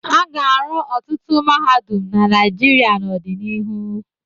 A ga-arụ ọtụtụ mahadum na Naịjirịa n'ọdịnihu.